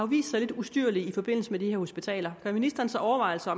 vist sig lidt ustyrlige i forbindelse med de her hospitaler gør ministeren sig overvejelser